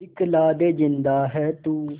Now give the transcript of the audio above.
दिखला दे जिंदा है तू